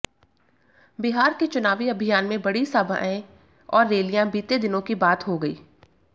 बिहार के चुनावी अभियान में बड़ी सभाएं और रैलियां बीते दिनों की बात हो गई